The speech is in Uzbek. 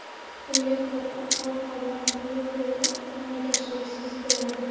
Unga ko‘ra, ob-havo quruq, yog‘ingarchiliksiz bo‘ladi.